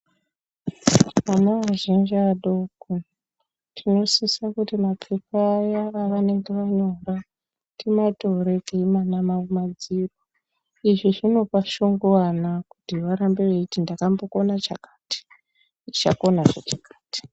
Ana azhinji adoko tinosisa mapfeka aya avanenge vanawo timatore teimana izvi zvinopanshoko kuvana kuti varambe ndakambokaona chakati ndichazokona chakati.